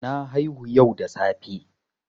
Na haihu yau da safe.